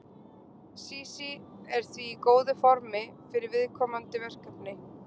Sísí er því í góðu formi fyrir komandi verkefni.